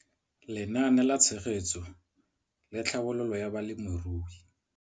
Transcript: Lenaane la Tshegetso le Tlhabololo ya Balemirui.